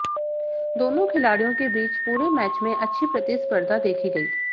दोनों खिलाड़ियों के बीच पूरे मैच में अच्छी प्रतिस्पर्धा देखी गई